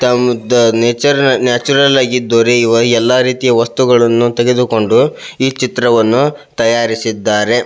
ತಾವು ಇದ್ದ nature natural ಆಗಿದ್ದವ ರೀ ಈವಾಗ ಎಲ್ಲ ರೀತಿಯ ವಸ್ತುಗಳನ್ನು ತೆಗೆದುಕೊಂಡು ಈ ಚಿತ್ರವನ್ನು ತಯಾರಿಸಿದ್ದಾರೆ.